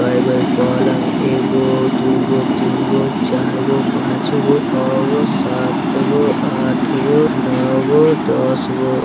कएगो हेय पलंग एगो दुगो तीनगो चारगो पाँचगो छहगो सातगो आठगो नोगो दसगो ।